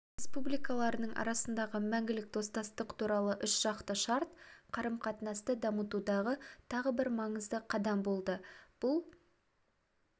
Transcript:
республикаларының арасындағы мәңгілік достастық туралы үшжақты шарт қарым-қатынасты дамытудағы тағы бір маңызды қадам болды бұл